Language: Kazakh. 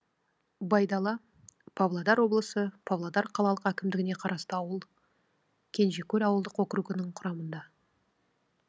байдала павлодар облысы павлодар қалалық әкімдігіне қарасты ауыл кенжекөл ауылдық округі құрамында